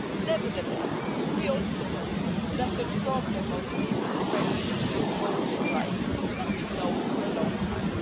Nevertheless, we also know that the problem of the disenfranchisement of voting rights has been known for a long time.